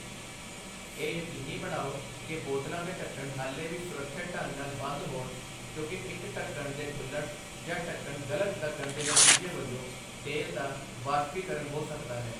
ਇਹ ਯਕੀਨੀ ਬਣਾਓ ਕਿ ਬੋਤਲਾਂ ਦੇ ਢੱਕਣ ਹਾਲੇ ਵੀ ਸੁਰੱਖਿਅਤ ਢੰਗ ਨਾਲ ਬੰਦ ਹੋਣ, ਕਿਉਂਕਿ ਇੱਕ ਢੱਕਣ ਦੇ ਖੁੱਲ੍ਹਣ ਜਾਂ ਢੱਕਣ ਗਲਤ ਲੱਗਣ ਦੇ ਨਤੀਜੇ ਵਜੋਂ ਤੇਲ ਦਾ ਵਾਸ਼ਪੀਕਰਨ ਹੋ ਸਕਦਾ ਹੈ।